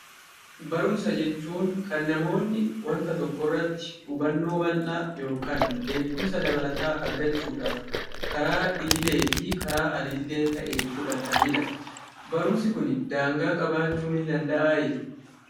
Barumsa jechuun kan namoonni wanta tokko irratti hubannoo bal'aa yookiin beekumsa dabalataa argachuudhaaf karaa idilee fi al-idilee ta'een fudhatanidha. Barumsi kun daangaa qabaachuu ni danda'aayi?